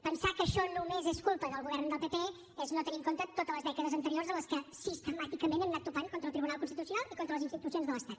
pensar que això només és culpa del govern del pp és no tenir en compte totes les dècades anteriors en les quals sistemàticament hem anat topant contra el tribunal constitucional i contra les institucions de l’estat